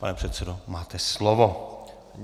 Pane předsedo, máte slovo.